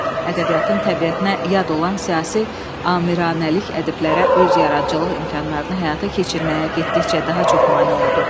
Ədəbiyyatın təbiətinə yad olan siyasi amiranəlik ədəblərə öz yaradıcılıq imkanlarını həyata keçirməyə getdikcə daha çox mane oldu.